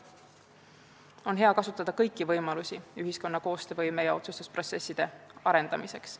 Oleks hea kasutada kõiki võimalusi ühiskonna koostöövõime ja otsustusprotsesside arendamiseks.